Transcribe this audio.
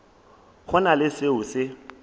go na le seo se